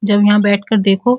जब यहाँ बैठ कर देखो।